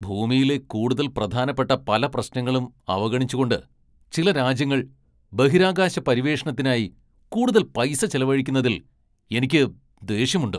ഭൂമിയിലെ കൂടുതൽ പ്രധാനപ്പെട്ട പല പ്രശ്നങ്ങളും അവഗണിച്ചുകൊണ്ട് ചില രാജ്യങ്ങൾ ബഹിരാകാശ പര്യവേഷണത്തിനായി കൂടുതൽ പൈസ ചെലവഴിക്കുന്നതിൽ എനിക്ക് ദേഷ്യമുണ്ട്.